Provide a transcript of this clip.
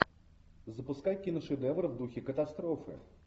запускай киношедевр в духе катастрофы